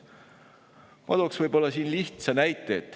Ma toon lihtsa näite.